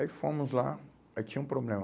Aí fomos lá, aí tinha um problema.